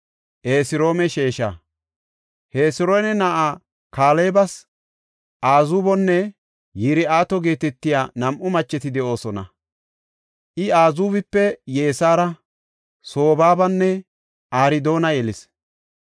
Hesiroona na7aa Kaalebas Azuubonne Yir7ooto geetetiya nam7u macheti de7oosona. I Azuubipe Yesaara, Sobaabanne Ardoona yelis.